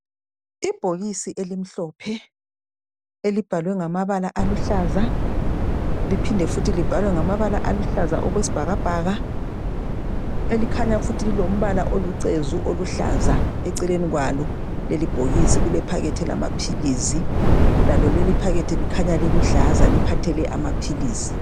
Ibhokisi elimhlophe elibhalwe ngamabala aluhlaza, liphinde futhi libhalwe ngamabala aluhlaza okwesibhakabhaka elikhanya futhi lilombala olucezu oluhlaza, eceleni kwalo lelibhokisi kulephakethi lamaphilisi lalo leliphakethi likhanya liluhlaza liphathele amaphilisi.